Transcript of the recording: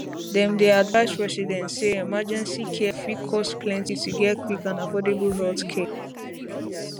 dem dey advise residents say emergency care fit cost plenty to get quick and affordable healthcare